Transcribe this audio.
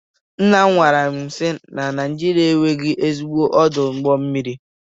Nnam gwaram si na Naijiria enweghị ezigbo ọdụ ụgbọ mmiri.